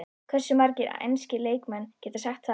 Hversu margir enski leikmenn geta sagt það?